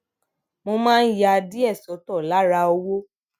mo máa ń ya díè sótò lára owó